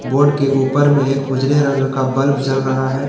Board के ऊपर में एक उजले रंग का बल्ब जल रहा है।